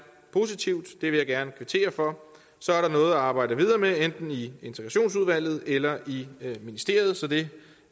positivt og det vil jeg gerne kvittere for så er der noget at arbejde videre med enten i integrationsudvalget eller i ministeriet så det